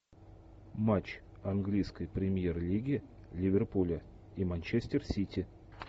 матч английской премьер лиги ливерпуля и манчестер сити